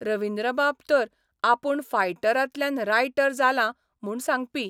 रविन्द्रबाब तर आपूण फायटरांतल्यान रायटर जालां म्हूण सांगपी.